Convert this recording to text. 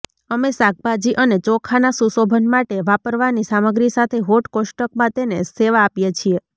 અમે શાકભાજી અને ચોખાના સુશોભન માટે વાપરવાની સામગ્રી સાથે હોટ કોષ્ટકમાં તેને સેવા આપીએ છીએ